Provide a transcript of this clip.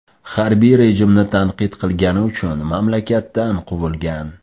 Harbiy rejimni tanqid qilgani uchun mamlakatdan quvilgan.